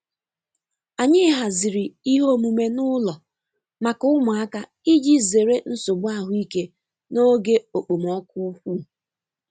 Anyi haziri ihe omume n'ụlọ maka ụmụaka iji zere nsogbu ahụike n'oge okpomọkụ ukwu.